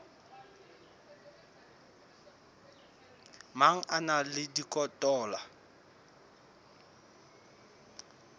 mang a na le dikotola